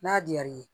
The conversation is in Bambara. N'a diyar'i ye